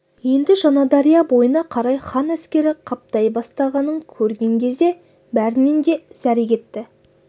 енді жаңадария бойына қарай хан әскері қаптай бастағанын көрген кезде бәрінен де зәре кетті